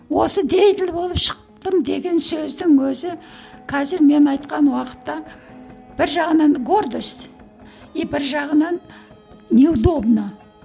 осы деятель болып шықтым деген сөздің өзі қазір мен айтқан уақытта бір жағынан гордость и бір жағынан неудобно